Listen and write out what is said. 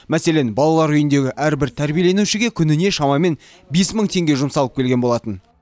мәселен балалар үйіндегі әрбір тәрбиеленушіге күніне шамамен бес мың теңге жұмсалып келген болатын